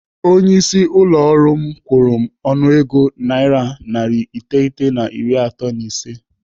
Onye isi ụlọ ọrụ m kwuru m ọnụego naira narị iteghete na iri atọ na ise.